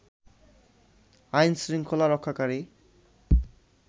আইন শৃংখলা রক্ষাকারী